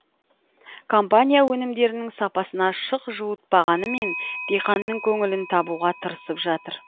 компания өнімдерінің сапасына шық жуытпағанымен диқанның көңілін табуға тырысып жатыр